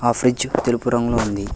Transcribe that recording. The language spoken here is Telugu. ఆ ఫ్రిడ్జ్ తెలుపు రంగులో ఉంది.